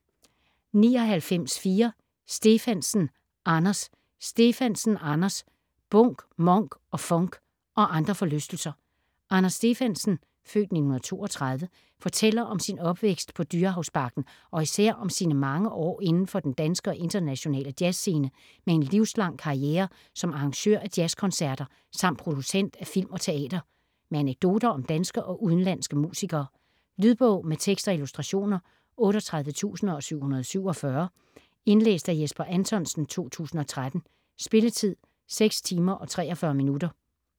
99.4 Stefansen, Anders Stefansen, Anders: Bunk, Monk & funk - og andre forlystelser Anders Stefansen (f. 1932) fortæller om sin opvækst på Dyrehavsbakken og især om sine mange år indenfor den danske og internationale jazzscene med en livslang karriere som arrangør af jazzkoncerter, samt producent af film og teater. Med anekdoter om danske og udenlandske musikere. Lydbog med tekst og illustrationer 38747 Indlæst af Jesper Anthonsen, 2013. Spilletid: 6 timer, 43 minutter.